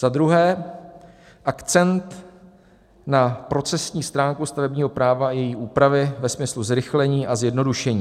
Za druhé, akcent na procesní stránku stavebního práva a její úpravy ve smyslu zrychlení a zjednodušení.